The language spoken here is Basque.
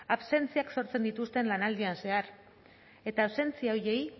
absentziak sortzen dituzte lanaldian zehar eta absentzia horiei